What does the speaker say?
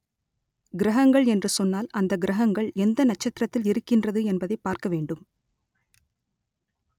கிரகங்கள் என்று சொன்னால் அந்த கிரகங்கள் எந்த நட்சத்திரத்தில் இருக்கின்றது என்பதை பார்க்க வேண்டும்